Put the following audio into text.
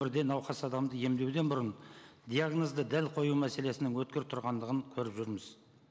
бірден науқас адамды емдеуден бұрын диагнозды дәл қою мәселесінің өткір тұрғандығын көріп жүрміз